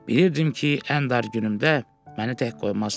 Bilirdim ki, ən dar günümdə məni tək qoymazsan.